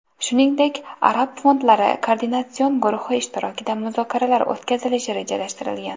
Shuningdek, arab fondlari koordinatsion guruhi ishtirokida muzokaralar o‘tkazilishi rejalashtirilgan.